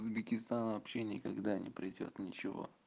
в узбекистан вообще никогда не придёт ничего